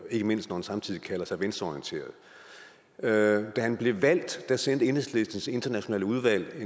ikke mindst når han samtidig kalder sig venstreorienteret da han blev valgt sendte enhedslistens internationale udvalg et